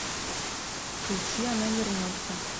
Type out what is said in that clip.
включи она вернется